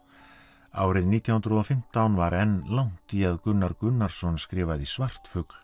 árið nítján hundruð og fimmtán var enn langt í að Gunnar Gunnarsson skrifaði svartfugl